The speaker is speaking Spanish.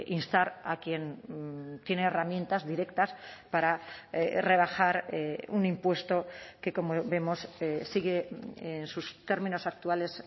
instar a quien tiene herramientas directas para rebajar un impuesto que como vemos sigue en sus términos actuales